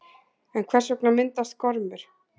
En hvers vegna myndast gormur?